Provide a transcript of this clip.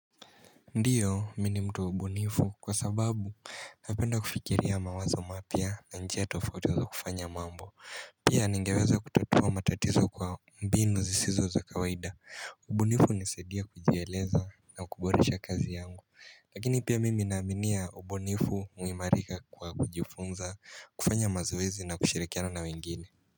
Ndiyo, mi ni mtu ubunifu kwa sababu napenda kufikiria mawazo mapia na njia tofauti ya kufanya mambo Pia ningeweza kututua matatizo kwa mbinu zisizo za kawaida. Ubunifu hunisadia kujieleza na kuboresha kazi yangu. Lakini pia mimi naaminia ubunifu huimarika kwa kujifunza, kufanya mazoezi na kushirikiana na wengine.